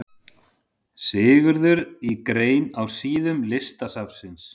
Sigurður í grein á síðum Listasafnsins.